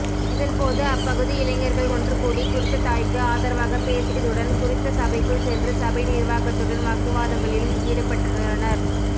இதன்போது அப்பகுதி இளைஞர்கள் ஒன்றுகூடி குறித்த தாய்க்கு ஆதரவாக பேசியதுடன் குறித்த சபைக்குள் சென்று சபை நிர்வாகத்துடன் வாக்குவாதங்களிலும் ஈடுபட்டுள்ளனர்